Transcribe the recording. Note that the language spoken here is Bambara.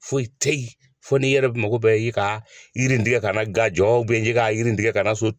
Foyi te yen, fo ni yɛrɛ mako bɛ i ka yiri in tigɛ ka na ga jɔ bɛ karin tigɛ ka so.